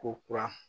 Ko kura